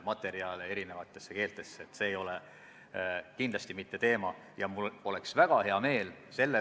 Ma sain aru, et ka nn oote kompenseerimine sooja joogi ja võileibadega on kuidagi edasi lükatud või ei kehti päriselt.